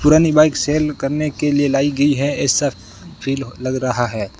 पुरानी bike sale करने के लिए लाई गई है ऐसा फील लग रहा है।